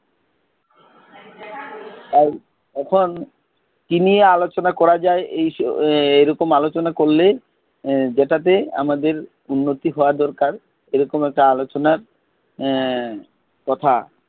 তাই এখন কি নিয়ে আলোচনা করা যায়, এরকম আলোচনা করলে এর যেটাতে আমাদের উন্নতি হওয়া দরকার এরকম একটা আলোচনার এর কথা,